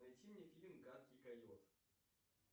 найди мне фильм гадкий койот